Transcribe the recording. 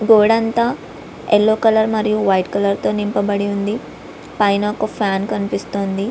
గోడ అంత yellow colour మరియు వైట్ కలర్ తో నింపబడివుంది పైన ఒక ఫ్యాన్ కనిపిస్తోంది.